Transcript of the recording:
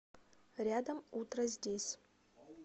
рядом утроздесь